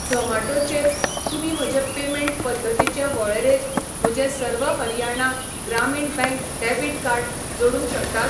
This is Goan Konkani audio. झोमाटो चेर तुमी म्हजे पेमेंट पद्दतींचे वळेरेंत म्हजें सर्व हरियाणा ग्रामीण बँक डेबिट कार्ड जोडूंक शकतात?